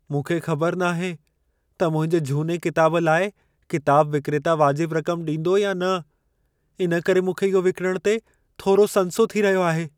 मूंखे ख़बर नाहे त मुंहिंजे झूने किताब लाइ किताब विक्रेता वाजिब रक़म ॾींदो या न। इन करे मूंखे इहो विकिणणु ते थोरो संसो थी रहियो आहे.